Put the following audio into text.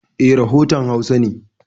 E, rafotan Hausa ne.